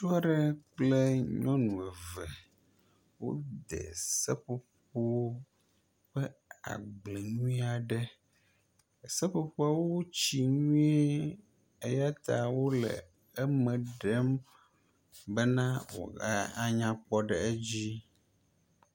Ŋutsu aɖe kple nyɔnu eve wode seƒoƒo ƒe agble nyui aɖe. Seƒoƒowo wo tsi nyui eya ta wo le eme ɖem nyuie be woaga anyakpɔ ɖe edzi.